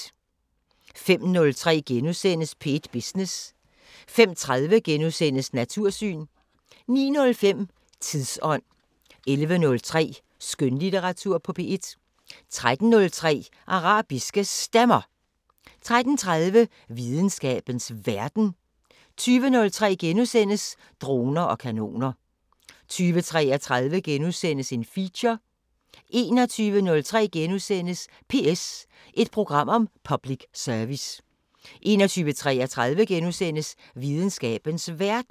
05:03: P1 Business * 05:30: Natursyn * 09:05: Tidsånd 11:03: Skønlitteratur på P1 13:03: Arabiske Stemmer 13:30: Videnskabens Verden 20:03: Droner og kanoner * 20:33: Feature * 21:03: PS – et program om public service * 21:33: Videnskabens Verden *